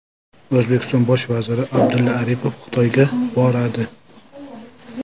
O‘zbekiston bosh vaziri Abdulla Aripov Xitoyga boradi.